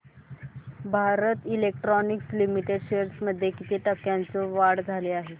Bharat electronics limited shares मध्ये किती टक्क्यांची वाढ झाली